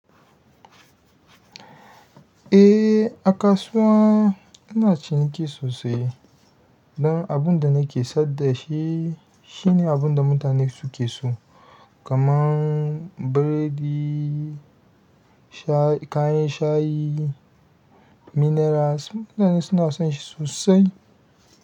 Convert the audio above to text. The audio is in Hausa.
Eh, a kasuwa ina ciniki sosai dan abin da nake sayar da shi, shine abin da mutane suke so, kamar biredi, kayan shayi, minerals, mutane suna son shi sosai.